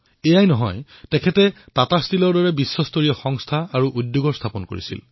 এয়াই নহয় তেওঁ টাটা ষ্টীলৰ দৰে বহুতো বিশ্বমানৰ সংস্থা আৰু উদ্যোগৰো স্থাপন কৰিছিল